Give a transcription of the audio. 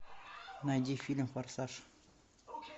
найди фильм форсаж